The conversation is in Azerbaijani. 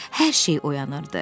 Hər şey oyanırdı.